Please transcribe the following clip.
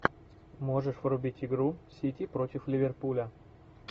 можешь врубить игру сити против ливерпуля